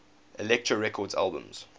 elektra records albums